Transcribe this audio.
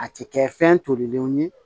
A tɛ kɛ fɛn tolilenw ye